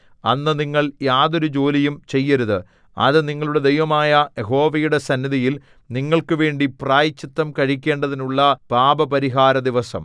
അന്ന് നിങ്ങൾ യാതൊരു ജോലിയും ചെയ്യരുത് അത് നിങ്ങളുടെ ദൈവമായ യഹോവയുടെ സന്നിധിയിൽ നിങ്ങൾക്കുവേണ്ടി പ്രായശ്ചിത്തം കഴിക്കേണ്ടതിനുള്ള പാപപരിഹാരദിവസം